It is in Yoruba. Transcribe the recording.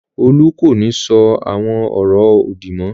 Olú kò ní sọ àwọn ọ̀rọ̀ òdì mọ́.